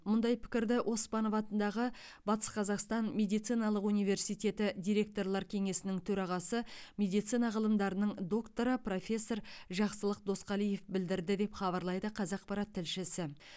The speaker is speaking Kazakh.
мұндай пікірді оспанов атындағы батыс қазақстан медициналық университеті директорлар кеңесінің төрағасы медицина ғылымдарының докторы профессор жақсылық досқалиев білдірді деп хабарлайды қазақпарат тілшісі